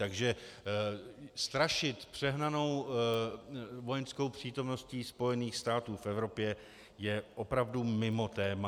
Takže strašit přehnanou vojenskou přítomností Spojených států v Evropě je opravdu mimo téma.